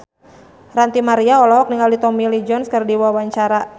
Ranty Maria olohok ningali Tommy Lee Jones keur diwawancara